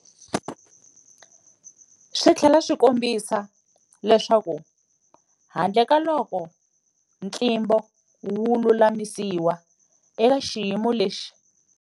Swi tlhela swi kombisa leswaku handlekaloko ntlimbo wu lulamisiwa, eka xiyimo lexi.